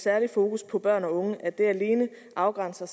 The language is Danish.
særligt fokus på børn og unge alene afgrænses af